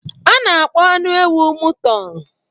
A na-akpọ anụ ewu mụton.